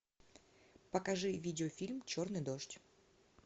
покажи видеофильм черный дождь